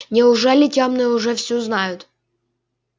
неужели тёмные уже всё знают